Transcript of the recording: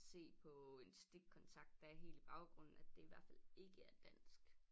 Se på en stikkontakt der er helt i baggrunden at det i hvert fald ikke er dansk